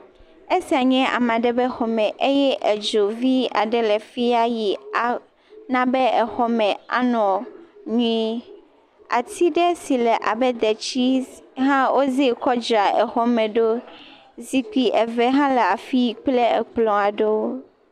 Esia nye ame aɖe ƒe xɔ me eye edzo vi aɖe le fiya eye ah na be exɔ me anɔ nyuie. Ati ɖe si le abe detsi hã wo ze kɔ dzra xɔ me ɖo. zikpui eve hã le afi kple ekplɔ aɖewo.